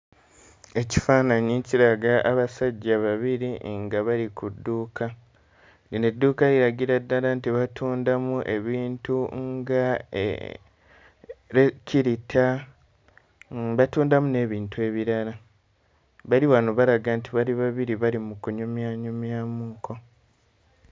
Ekifaananyi kiraga abasajja babiri nga bali ku dduuka. Lino edduuka liragira ddala nti batundamu ebintu ng'ekkirita, batundamu n'ebintu ebirala. Bali wano balaga nti bali babiri bali mu kunyumyanyumyamukko.